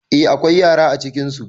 Eh akwai yara acikinsu